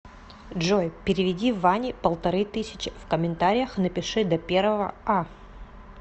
джой переведи ване полторы тысячи в комментариях напиши до первого а